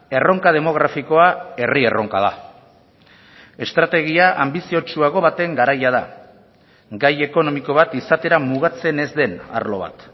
erronka demografikoa herri erronka da estrategia anbiziotsuago baten garaia da gai ekonomiko bat izatera mugatzen ez den arlo bat